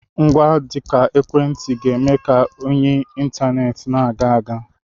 Ngwa dị ka ekwentị ga-eme ka oyi intaneti na-aga aga.